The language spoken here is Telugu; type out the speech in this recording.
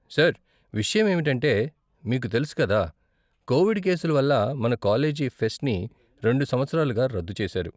సార్, విషయం ఏమిటంటే, మీకు తెలుసు కదా కోవిడ్ కేసుల వల్ల మన కాలేజీ ఫెస్ట్ని రెండు సంవత్సరాలుగా రద్దు చేసారు.